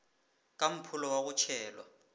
ka mpholo wa go tšhelwa